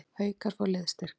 Haukar fá liðsstyrk